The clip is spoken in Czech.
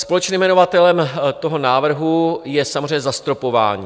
Společným jmenovatelem toho návrhu je samozřejmě zastropování.